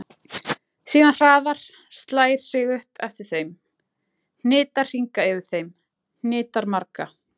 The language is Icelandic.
Síðan hraðar, slær sig upp eftir þeim, hnitar hringa yfir þeim, hnitar marga.